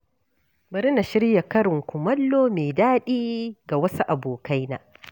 Bari na shirya karin kumallo mai daɗi ga wasu abokaina.